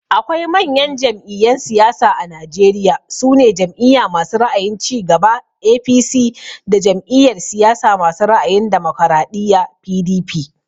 Akwai manyan jam'iyyan siyasa a Najeriya, su ne Jam'iya masu ra'ayin cigaba (APC) da Jam'iyar siyasa masu ra'ayin damokaraɗiya (PDP)